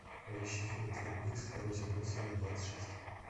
поищи фильм твин пикс второй сезон серия двадцать шесть